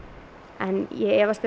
en ég efast um